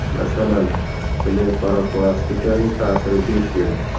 Masalan, blefaroplastikaning ta’siri besh yil.